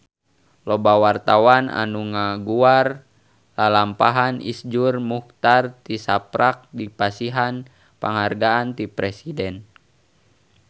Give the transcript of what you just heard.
Loba wartawan anu ngaguar lalampahan Iszur Muchtar tisaprak dipasihan panghargaan ti Presiden